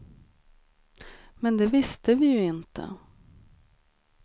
Men det visste vi ju inte.